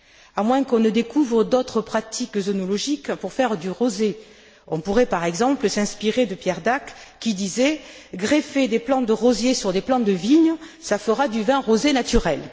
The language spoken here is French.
À moins qu'on ne découvre d'autres pratiques œnologiques pour faire du rosé, on pourrait par exemple s'inspirer de Pierre Dac, qui disait Greffez des plants de rosiers sur des plants de vigne, ça fera du vin rosé naturel!.